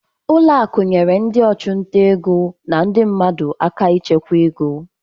Ụlọ akụ nyere ndị ọchụnta ego na ndị mmadụ aka ịchekwa ego.